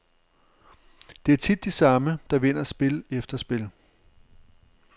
Det er tit de samme, der vinder spil efter spil.